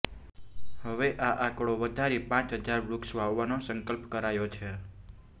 હવે આ આંકડો વધારી પ હજાર વૃક્ષ વાવવાનો સંકલ્પ કરાયો છે